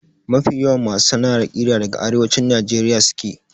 Mafi yawan masu sana'ar ƙira daga Arewacin Najeriya suke.